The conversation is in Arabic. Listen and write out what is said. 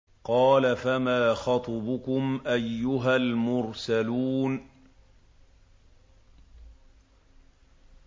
۞ قَالَ فَمَا خَطْبُكُمْ أَيُّهَا الْمُرْسَلُونَ